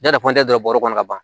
Ja dɔ bɔrɛ kɔnɔ ka ban